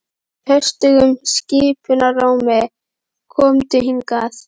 Hann sagði höstugum skipunarrómi: Komdu hingað.